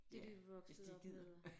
Ja hvis de gider